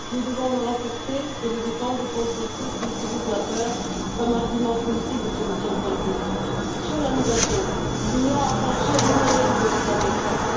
Nous devons le renforcer et le défendre contre ceux qui utilisent la peur comme argument politique de solutions simplistes. En ce qui concerne la migration, l'Union a franchi, en une année, de véritables caps.